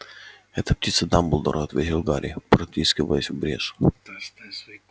это птица дамблдора ответил гарри протискиваясь в брешь